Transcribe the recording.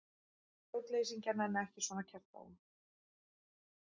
Stjórnleysingjar nenna ekki svona kjaftæði.